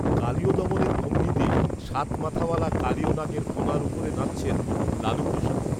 কালিয়দমনের ভঙ্গিতে সাত মাথাওয়ালা কালিয় নাগের ফণার উপরে নাচছেন, লালুপ্রসাদ